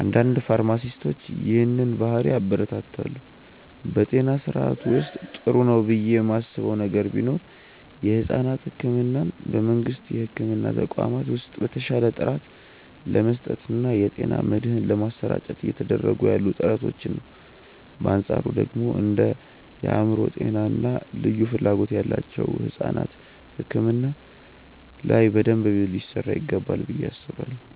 አንዳንድ ፋርማሲስቶች ይህንን ባህሪ ያበረታታሉ። በጤና ስርዓቱ ውስጥ ጥሩ ነው ብዬ ማስበው ነገር ቢኖር የሕፃናት ሕክምናን በመንግስት የሕክምና ተቋማት ውስጥ በተሻለ ጥራት ለመስጠት እና የጤና መድህን ለማሰራጨት እየተደረጉ ያሉ ጥረቶችን ነው። በአንፃሩ ደግሞ እንደ የአእምሮ ጤና እና ልዩ ፍላጎት ያላቸው ሕፃናት ሕክምና ላይ በደንብ ሊሰራ ይገባል ብዬ አስባለሁ።